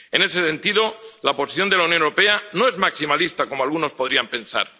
En ese sentido, la posición de la Unión Europea no es maximalista, como algunos podrían pensar.